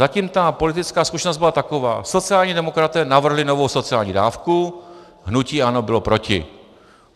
Zatím ta politická zkušenost byla taková: Sociální demokraté navrhli novou sociální dávku, hnutí ANO bylo proti.